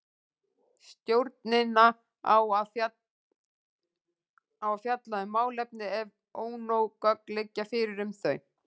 Stjórnin á að fjalla um málefni ef ónóg gögn liggja fyrir um þau.